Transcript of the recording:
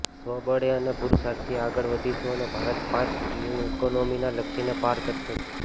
સ્વબળે અને પુરુષાર્થથી આગળ વધીશંુ અને ભારત પાંચ ટ્રિલિયન ઇકોનોમીના લક્ષ્યને પાર કરશે જ